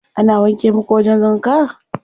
Ana wanke muku wajen wanka?